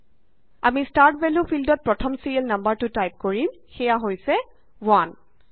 আমি start value ফিল্ডত প্ৰথম ছিৰিয়েল নাম্বাৰটো টাইপ কৰিম সেইয়া হৈছে 1